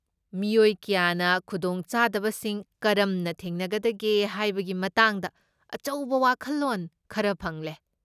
ꯃꯤꯑꯣꯏ ꯀꯌꯥꯅ ꯈꯨꯗꯣꯡꯆꯥꯗꯕꯁꯤꯡ ꯀꯔꯝꯅ ꯊꯦꯡꯅꯒꯗꯒꯦ ꯍꯥꯏꯕꯒꯤ ꯃꯇꯥꯡꯗ ꯑꯆꯧꯕ ꯋꯥꯈꯜꯂꯣꯟ ꯈꯔ ꯐꯪꯂꯦ꯫